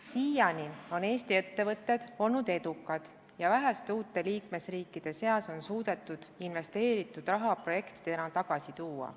Siiani on Eesti ettevõtted olnud edukad ja uutest liikmesriikidest ühena vähestest on Eesti suutnud investeeritud raha projektidena tagasi tuua.